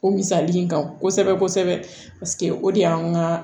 O misali in kan kosɛbɛ kosɛbɛ paseke o de y'an ka